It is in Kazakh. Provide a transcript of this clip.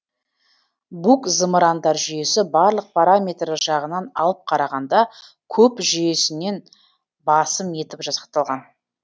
бук зымырандар жүйесі барлық параметрі жағынан алып қарағанда куб жүйесінен басым етіп жасақталған